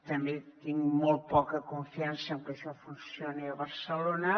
també tinc molt poca confiança en que això funcioni a barcelona